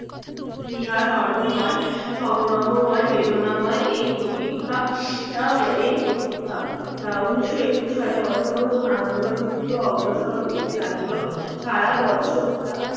ইহা সর্বময় সংগ্রহ ময় বেদনাময় এই প্রতীক্ষা আহ এই প্রতীক্ষা উনিশোশো একুশ সালে অসহযোগ আন্দোলন দ্রুত অগ্রসর হইতে লাগিল সারা বছরটা